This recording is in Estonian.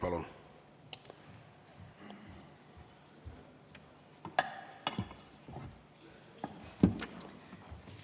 Palun!